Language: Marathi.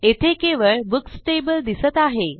येथे केवळ बुक्स टेबल दिसत आहे